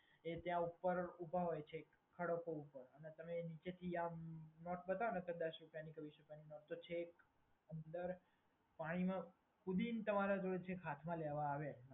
એ ત્યાં ઉપર ઊભા હોય છે ખડકો ઉપર અને તમે નીચેથી આમ નોટ બતાવોને દસ રૂપિયાની કે વીસ રૂપિયાની તો અંદર પાણીમાં કૂદીને છેક હાથમાં લેવા આવે.